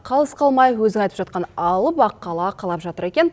қалыс қалмай өзің айтып жатқан алып аққала қалап жатыр екен